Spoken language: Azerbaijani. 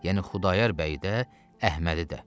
Yəni Xudayar bəyi də, Əhmədi də.